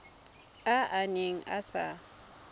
a a neng a sa